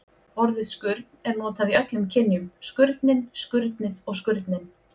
Orðið skurn er notað í öllum kynjum: skurnin, skurnið og skurninn.